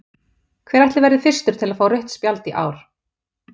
Hver ætli verði fyrstur til að fá rautt spjald í ár?